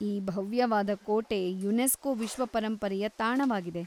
ಈ ಭವ್ಯವಾದ ಕೋಟೆ ಯುನೆಸ್ಕೋ ವಿಶ್ವ ಪರಂಪರೆಯ ತಾಣವಾಗಿದೆ.